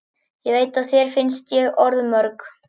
Ég veit að þér finnst ég orðmörg.